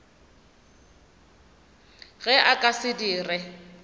ge a ka se dire